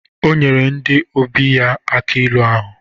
O nyere ndi ọbịa ya aki ilu ahụ.